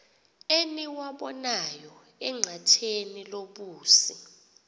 eniwabonayo enqatheni lobusi